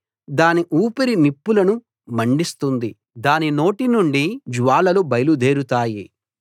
దాని ఊపిరి నిప్పులను మండిస్తుంది దాని నోటి నుండి జ్వాలలు బయలుదేరుతాయి